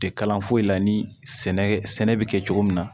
Tɛ kalan foyi la ni sɛnɛ sɛnɛ bɛ kɛ cogo min na